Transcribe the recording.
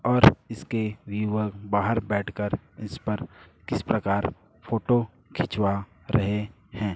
और इसके व्युअर बाहर बैठकर इस पर किस प्रकार फोटो खिंचवा रहे हैं।